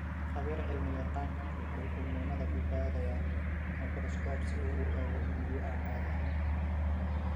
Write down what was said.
Khabiir-cilmi-yaqaanku waxa uu muunadda ku baadhayaa mikroskoob si uu u eego unugyo aan caadi ahayn.